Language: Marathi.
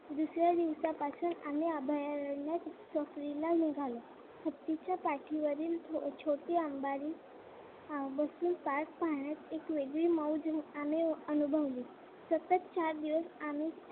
दुसऱ्या दिवसापासून आम्ही अभयारण्यात सफारीला निघालो. हत्तीच्या पाठीवरील छोटी अंबारी बसून एक पाहण्यात आम्ही वेगळीच मज्जा अनुभवली. सतत चार दिवस आम्ही